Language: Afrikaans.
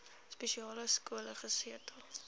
spesiale skole gesetel